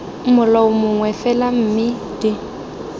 molao mongwe fela mme d